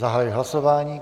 Zahajuji hlasování.